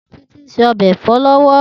Titi n sé òbè èfò lòwò